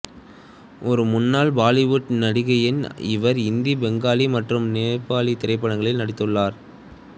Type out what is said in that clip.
ஒரு முன்னாள் பாலிவுட் நடிகையான் இவர் இந்தி பெங்காலி மற்றும் நேபாளி திரைப்படங்களில் நடித்துள்ளார்